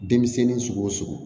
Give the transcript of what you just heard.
Denmisɛnnin sugu o sugu